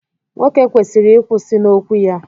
nwoke kwesịrị ịkwụsị n'okwu ya